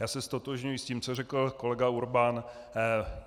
Já se ztotožňuji s tím, co řekl kolega Urban.